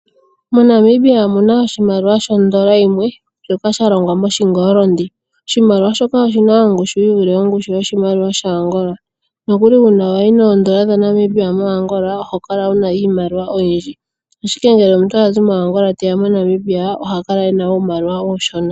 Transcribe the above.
Monamibia omuna oshimaliwa shondola yimwe shoka shalongwa mo shingolondi. Oshimaliwa shika oshina ongushu yi vule ongushu yoshimaliwa sha Angola nokuli uuna wayi noondola dha Namibia mo Angola oho kala wuna iimaliwa oyindji. Ashike ngele omuntu a zi mo Angola te ya mo Namibia ohakala ena uumaliwa uushona.